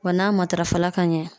Wa n'a matarafa ka ɲɛ